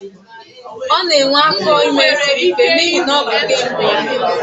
Ọ na-enwe afọ ime siri ike n'ihi na ọ bụ nke mbụ ya